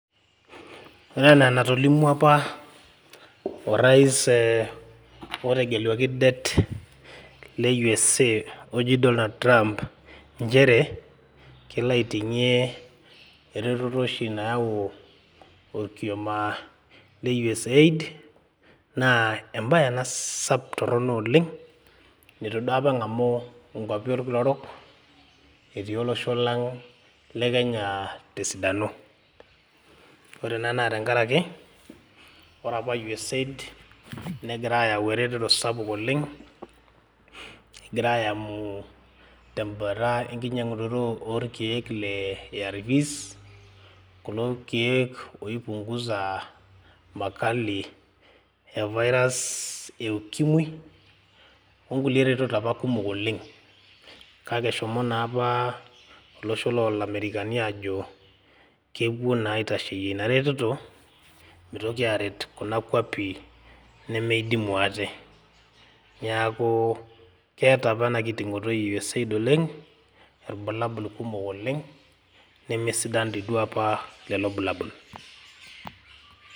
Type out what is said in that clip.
ore enaa enatolimu apa orais, otegeluaki det, le USA oji Donald trump nchere, kelo aiting'ie eretoto oshi nayau orkioma, le usaid naa embae ena sapuk, torono oleng, neitu duo apa eng'amu inkwapi orkila orok, etii olosho le kenya te sidano. ore ena naa tenkaraki, ore apa usaid negira aayau eretoto sapuk oleng, egira aayamu tebata enkinyiang'unoto oo oorkeek le arv's loorkek oi punguza makali e virus e ukimwi. onkulie retot apa kumok oleng. kake eshomo naa apa idimu ate. olosho loolamerikani ajo kepuo naa aitasheyie eretoto. meitoki aaret kuna kuapi nemeidimu ate, neeku keeta apa ena kitingito e usaid irbulabl kumok, nesidan lelo bulabol.